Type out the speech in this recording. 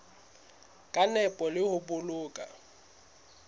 ka nepo le ho boloka